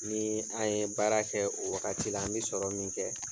Nii an ye baara kɛ o wagati la an be sɔrɔ min kɛ